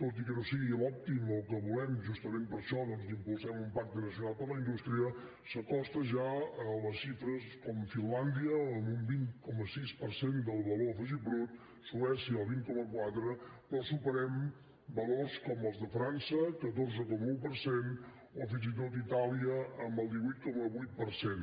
tot i que no és l’òptim o que volem justament per això doncs impulsar un pacte nacional per la indústria s’acosti ja a xifres com les de finlàndia amb un vint coma sis per cent del valor afegit brut suècia el vint coma quatre però superem valors com els de frança catorze coma un per cent o fins i tot itàlia amb el divuit coma vuit per cent